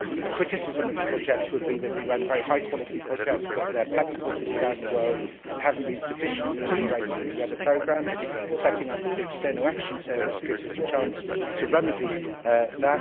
One criticism of the projects would be that we run very high quality projects, but they are pepper potted around the world and have not been sufficiently integrated into the other programmes. The setting up of the External Action Service gives us a chance to remedy this.